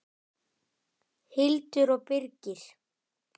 Hildur og Birgir.